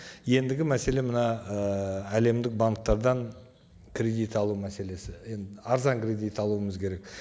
ендігі мәселе мына ыыы әлемдік банктерден кредит алу мәселесі енді арзан кредит алуымыз керек